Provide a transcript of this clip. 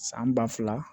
San ba fila